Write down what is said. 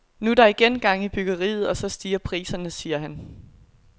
Nu er der igen gang i byggeriet, og så stiger priserne, siger han.